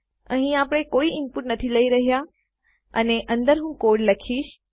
અહીં આપણે કોઈ ઇનપુટ નથી લઇ રહ્યા અને અંદર હું કોડ લખીશ